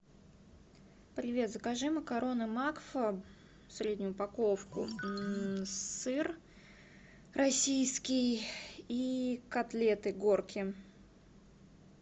привет закажи макароны макфа среднюю упаковку сыр российский и котлеты горки